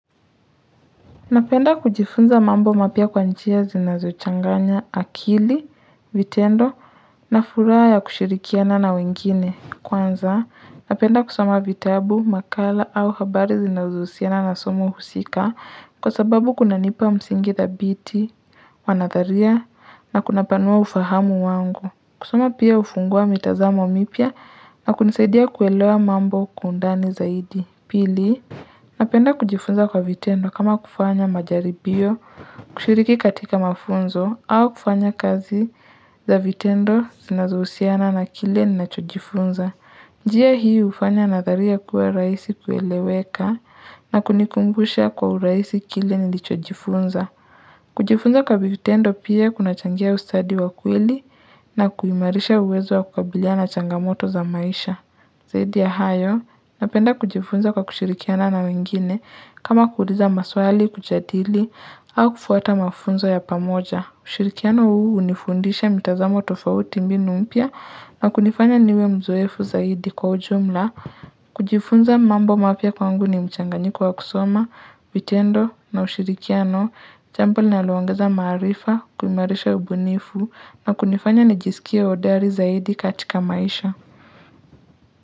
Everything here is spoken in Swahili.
Napenda kujifunza mambo mapya kwa njia zinazochanganya akili, vitendo na furaha ya kushirikiana na wengine kwanza. Napenda kusoma vitabu, makala au habari zinazohusiana na somo husika kwa sababu kuna nipa msingi dhabiti, wanadharia na kunapanua ufahamu wangu. Kusoma pia hufungua mitazamo mipya na kunisaidia kuelewa mambo kwa undani zaidi. Pili, napenda kujifunza kwa vitendo kama kufanya majaribio kushiriki katika mafunzo au kufanya kazi za vitendo zinazohusiana na kile ninachojifunza. Njia hii hufanya nadharia kuwa rahisi kueleweka na kunikumbusha kwa urahisi kile nilichojifunza. Kujifunza kwa vitendo pia kunachangia ustadi wa kweli na kuimarisha uwezo wa kukabiliana na changamoto za maisha. Zaidi ya hayo, napenda kujifunza kwa kushirikiana na wengine, kama kuuliza maswali kujadili au kufuata mafunzo ya pamoja. Ushirikiano huu hunifundisha mitazamo tofauti mbinu mpya na kunifanya niwe mzoefu zaidi kwa ujumla. Kujifunza mambo mapya kwangu ni mchanganyiko wa kusoma, vitendo na ushirikiano, jambo linalo ongeza maarifa, kuimarisha ubunifu na kunifanya nijisikie hodari zaidi katika maisha.